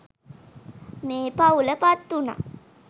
මේ පවුල පත්වුනා.